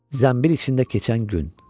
Zənbil içində keçən gün.